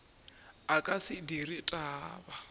a ka se dire taba